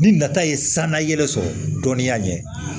Ni nata ye sanuya yɛrɛ sɔrɔ dɔnniya ɲɛ